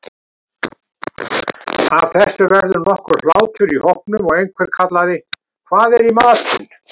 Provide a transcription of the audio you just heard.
Af þessu varð nokkur hlátur í hópnum og einhver kallaði:-Hvað er í matinn?